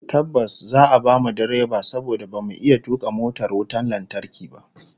Tabbas, za'a bamu direba saboda bamu iya tuka motar wutar lantarki ba